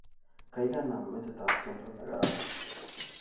Gaigai naam metitab tyendo negararan